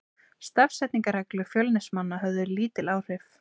Stafsetningarreglur Fjölnismanna höfðu lítil áhrif.